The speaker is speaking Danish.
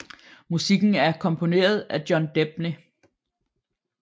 Musikken er komponeret af John Debny